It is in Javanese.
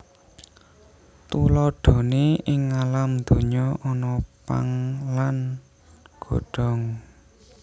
Tuladhané ing ngalam donya ana pang lan godhong